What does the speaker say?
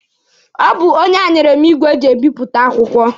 Ọ bụ onye a nyere m igwe eji ebipụta akwụkwọ.